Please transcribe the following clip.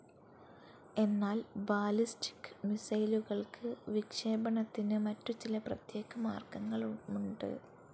എന്നാൽ ബാലിസ്റ്റിക്‌ മിസൈലുകൾക്ക് വിക്ഷേപണത്തിന് മറ്റു ചില പ്രത്യേക മാർഗങ്ങളുമുണ്ട്.